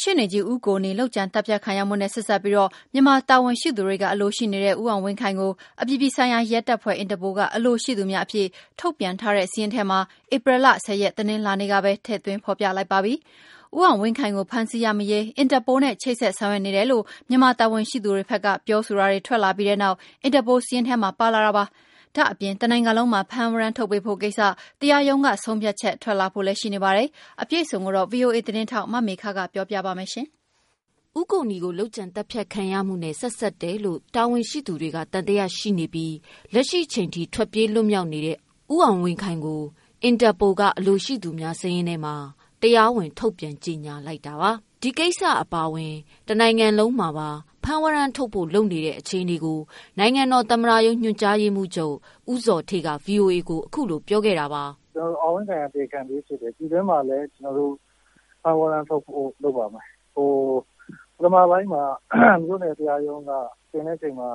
ရှေ့နေကြီး ဦးကိုနီကို လုပ်ကြံသတ်ဖြတ်ခံရမှုနဲ့ ဆက်စပ်ပြီးတော့ မြန်မာတာဝန်ရှိသူတွေက အလိုရှိနေတဲ့ ဦးအောင်ဝင်းခိုင်ကို အပြည်ပြည်ဆိုင်ရာရဲတပ်ဖွဲ့ INTERPOL က အလိုရှိသူများအဖြစ် ထုတ်ပြန်ထားတဲ့ စာရင်းထဲမှာ ဧပြီလ ၁၀ ရက်၊ တနင်္လာနေ့က ပဲ ထည့်သွင်းဖော်ပြလိုက်ပါပြီ။ ဦးအောင်ဝင်းခိုင်ကို ဖမ်းဆီးရမိရေး INTERPOL နဲ့ ချိတ်ဆက်ဆောင်ရွက်နေတယ်လို့ မြန်မာ တာဝန်ရှိသူတွေဘက်က ပြောဆိုတာတွေ ထွက်လာပြီးတဲ့နောက် INTERPOL စာရင်းထဲမှာ ပါလာတာပါ။ ဒါ့အပြင် တနိုင်ငံလုံးမှာ ဖမ်းဝရမ်းထုတ်ပေးဖို့ကိစ္စ တရားရုံးကဆုံးဖြတ်ချက် ထွက်လာဖို့လဲရှိနေပါတယ်။ အပြည့်အစုံကို ဗွီအိုအေ သတင်းထောက် မမေခက ပြောပြပါမယ်။ ဦးကိုနီကို လုပ်ကြံသတ်ဖြတ်ခံရမှုနဲ့ ဆက်စပ်တယ်လို့ တာဝန်ရှိသူတွေက သံသယရှိနေပြီး လက်ရှိချိန်ထိ ထွက်ပြေးလွတ်မြောက် နေတဲ့ ဦးအောင်ဝင်းခိုင်ကို အင်တာပိုလ်က အလိုရှိသူများစာရင်းထဲမှာ တရားဝင် ထုတ်ပြန် ကြေညာလိုက်တာပါ။ ဒီကိစ္စ အပါ အဝင် တနိုင်ငံလုံးမှာ ဖမ်းဝရမ်းထုတ်ဖို့ လုပ်နေတဲ့အခြေအနေကို နိုင်ငံတော်သမ္မတရုံး ညွှန်ကြားရေးမှူးချုပ် ဦးဇော်ဌေးက ဗွီအိုအေကို အခုလိုပြောပြပါတယ်။ “ဦးအောင်ဝင်းခိုင်က တရားခံပြေးဖြစ်တယ်။ ပြည်တွင်းမှာလည်း ဖမ်းဝရမ်းထုတ်ဖို့ လုပ်ပါမယ် ပထမပိုင်းမှာ မြို့နယ်တရားရုံးကတင်တဲ့အချိန်မှာ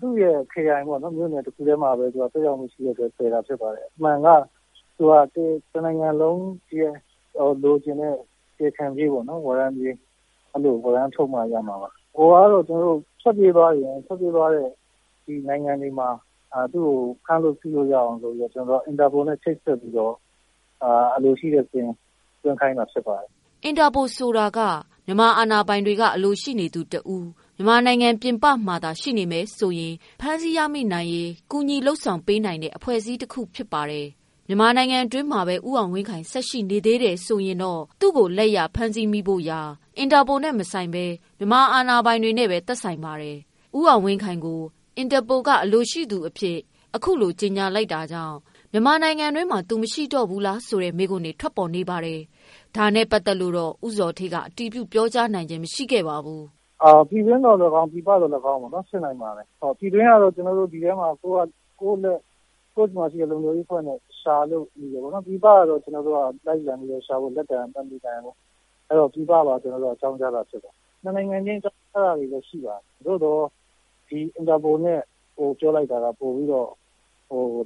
သူ့ရဲ့ခရိုင်အတွင်းမှာပဲ သက်ရောက်မှုရှိတဲ့အတွက် လုပ် တာဖြစ်ပါတယ် ။ အမှန်က တနိုင်ငံလုံးရဲ့ လိုချင်တဲ့ တရားခံပြေး၊ ဝရမ်းပြေးပေါ့နော် ထုတ်မှရမှာပါ။ ဟိုဟာကတော့ ထွက်ပြေးသွားရင်၊ ထွက်ပြေးသွားတဲ့ နိုင်ငံတွေမှာ ဖမ်းဆီးလို့ရအောင်ဆိုပြီးတော့ INTERPOL နဲ့ ချိတ်ဆက်ပြီးတော့ အလိုရှိတဲ့စာရင်းသွင်းခိုင်းတာဖြစ်ပါတယ်။” အင်တာပိုလ်ဆိုတာက မြန်မာအာဏာပိုင်တွေက အလိုရှိနေသူတဦး မြန်မာနိုင်ငံပြင်ပမှာသာ ရှိနေမယ်ဆိုရင် ဖမ်းဆီးရမိနိုင်ရေး ကူညီလုပ်ဆောင်ပေးနိုင်တဲ့ အဖွဲ့အစည်းတခုပါ။ မြန်မာနိုင်ငံတွင်းမှာပဲ ဦးအောင်ဝင်းခိုင် ဆက်ရှိနေသေးရင်တော့ သူ့ကို လက်ရ ဖမ်းဆီးမိဖို့ရာ အင်တာပိုလ်နဲ့မဆိုင်ဘဲ မြန်မာအာဏာပိုင်တွေနဲ့ပဲ သက်ဆိုင်ပါတယ်။ ဦးအောင်ဝင်းခိုင်ကို အင်တာပိုလ်က အလိုရှိ သူအဖြစ် အခုလို ကြေညာလိုက်တာကြောင့် မြန်မာနိုင်ငံတွင်းမှာ သူမရှိတော့ဘူးလားဆိုတဲ့မေးခွန်း ထွက်လာပါတယ်။ ဒါနဲ့ ပတ်သက်လို့တော့ ဦးဇော်ဌေးက အတည်ပြုပြောကြားနိုင်ခြင်းမရှိပါဘူး။ “ပြည်တွင်းသော်လည်းကောင်း၊ ပြည်ပသော်လည်းကောင်းဖြစ်နိုင်ပါတယ်။ ပြည်တွင်းကတော့ ကျနော်တို့ ဒီဘက်မှာ ကို့ဆီမှာရှိတဲ့ လုံခြုံရေးအဖွဲ့နဲ့ ရှာလို့ ရတယ်ပေါ့နော် ပြည်ပကတော့ ကျနော်တို့လိုက်ပြီးတော့ ရှာဖို့ လက်လှမ်းမမှီနိုင်ဘူးပေါ့နော်။ အဲဒါကြောင့် ပြည်ပကိုပါ အကြောင်းကြားတာဖြစ်ပါတယ်။ ၂ နိုင်ငံချင်းအကြောင်းကြားတာရှိပါတယ်။ သို့သော် INTERPOLနဲ့ ပြောလိုက်တာက ပိုပြီးတော့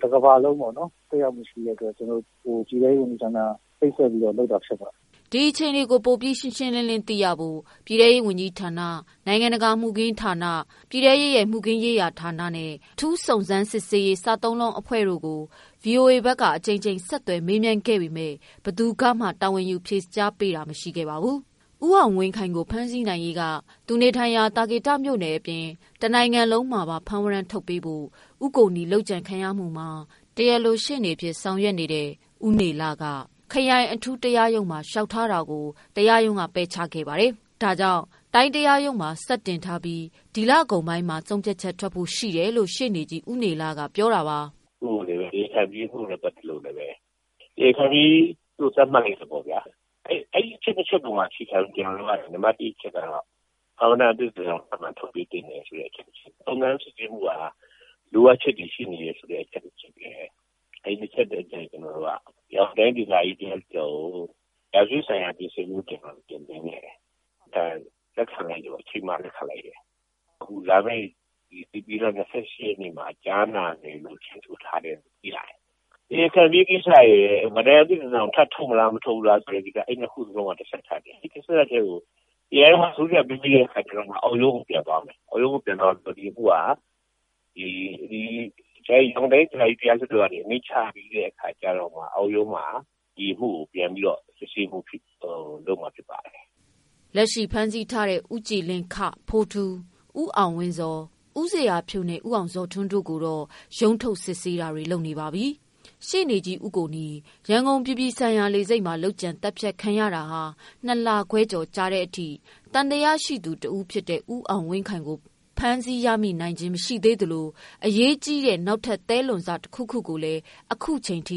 တကမ္ဘာလုံးပေါ့နော် သက်ရောက်မှုရှိတဲ့အတွက် ကျနော်တို့ ပြည်ထဲရေးဝန်ကြီးဌာနကနေပြီးတော့ ပူးပေါင်းလုပ်တာဖြစ်ပါတယ်။” ဒီအခြေအနေကို ပိုပြီးရှင်းရှင်းလင်းလင်းသိရဖို့ ပြည်တဲရေးဝန်ကြီးဌာန၊ နိုင်ငံတကာမူခင်းဌာန၊ ပြည်ထဲရေးမှုခင်းဌာနနဲ့ အထုူး စုံစမ်းစစ်ဆေးရေး စသုံးလုံးအဖွဲ့တို့ကို ဗွီအိုအေက အကြိမ်ကြိမ်ဆက်သွယ်မေးမြန်းခဲ့ပေမဲ့ ဘယ်သူကမှ တာဝန်ယူဖြေဆိုပေးတာ မရှိပါဘူး။ ဦးအောင်ဝင်းခိုင်ကို ဖမ်းဆီးနိုင်ရေး သူနေထိုင်ရာ သာကေတမြို့နယ်အပြင် တနိုင်ငံလုံးမှာ ဖမ်းဝရမ်းထုတ်ပေးဖို့ ဦးကိုနီ လုပ်ကြံ ခံရမှုမှာ တရားလိုရှေ့နေဖြစ်တဲ့ ဦးနေလက ခရိုင်အထူးတရားရုံးမှာ လျှောက်ထားတာကို တရားရုံးက ပယ်ချထားတာပါ။ ဒါကြောင့် တိုင်းတရားရုံးမှာ ဆက်တင်ထားပြီး ဒီလကုန်ပိုင်းမှာ ဆုံးဖြတ်ချက်ထွက်ဖို့ရှိတယ်လို့ ရှေ့နေကြီး ဦးနေလက ပြောပါ တယ်။ “တရားခံပြေးမှုနဲ့ ပတ်သက်လို့ တရားခံပြေးလို့ သတ်မှတ်တဲ့သဘောပေါ့ဗျာ အဲဒီအချက်တွေပေါ်မှာ အခြေခံပြီး နံပတ်၁ အချက်ကတော့ ဖမ်းဝရမ်းအသစ်တစောင် ထုတ်ပေးသင့်တယ်ဆိုတဲ့အချက် ၊ စုံစမ်းစစ်ဆေးမှုက လိုအပ်ချက်တွေရှိနေတယ်ဆိုတဲ့အချက် အဲဒီ၂ ထက်ကို ကျနေ်ာတို့က ရန်ကုန်တိုင်းဒေသကြီးတရားလွှတ်တော်ကို ရာဇဝတ်ဆိုင်ရာပြင်ဆင်မှု အနေနဲ့ တင်ခဲ့တယ်။ လက်ခံလိုက်တယ်၊ လာမယ့် ဧပြီလ ၂၈ ရက်နေ့မှာ ကြားနာမယ်လို့ ချိန်းဆိုထားတယ်လို့ သိရတယ်။ တရားခံပြေးကိစ္စကို ဖမ်းဝရမ်းအသစ်တစောင်ထုတ်မလားမထုတ်ဘူးလားဆိုတာကတော့ အဲဒီ၂ ခုစလုံးက တဆက်တည်းကိုတိုင်းတရားရုံးက ဆုံးဖြတ်ပြီးတဲ့အချိန်မှာ အောက်ရုံးကို ပြန်သွားမယ် ၊ သွားပြီးရင် ဒီအမှုက ရန်ကုန်တိုင်းဒေသကြီးတရားလွှတ်တော်ကနေ အမိန့်ချရင် ချပြီးတဲ့အချိန်မှ အောက်ရုံးမှာ ဒီအမှုကို စစ်ဆေးဖို့လုပ်မှာဖြစ်ပါတယ်။” လက်ရှိဖမ်းဆီးထားတဲ့ ဦးကြည်လင်း ဖိုးထူး၊ ဦးအောင်ဝင်းဇော်၊ ဦးဇေယျာဖြိုးနဲ့ ဦးအောင်ဇော်ထွန်းတို့ကိုတော့ ရုံးထုတ် စစ်ဆေးတာတွေ လုပ်နေပါပြီ။ ရှေ့နေကြီးဦးကိုနီ ရန်ကုန်လေဆိပ်မှာ လုပ်ကြံသတ်ဖြတ်ခံရတာ ၂ လခွဲကျော်ကြာတဲ့အထိ သံသယရှိသူတဦးဖြစ်တဲ့ ဦးအောင်ဝင်းခိုင်ကို ဖမ်းမမိသေးသလို အရေးကြီးတဲ့ နောက်ထပ် သဲလွန်စ တခုခုကိုလဲ အခုချိန်ထိ